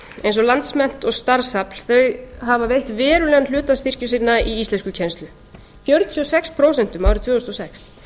eins og landsmennt og starfsafl þau hafa veitt verulegan hluta styrkja sinna í íslenskukennslu fjörutíu og sex prósent árið tvö þúsund og sex